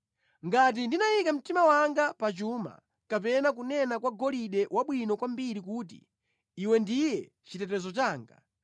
“Ngati ndinayika mtima wanga pa chuma kapena kunena kwa golide wabwino kwambiri kuti, ‘Iwe ndiye chitetezo changa,’